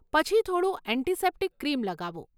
પછી થોડું antiseptic cream લગાવો.